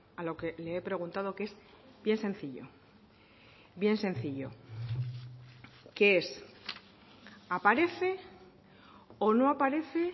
a lo que le he preguntado que es bien sencillo bien sencillo que es aparece o no aparece